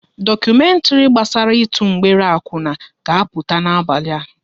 Dokumentri gbasara ịtụ mgbere akwuna ga-apụta n'abalị a